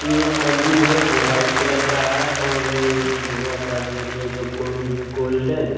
ये एक मंदिल है जो व्हाइट कलर का है और ये एक लोहा का गेट है जो गुन गोल्डन --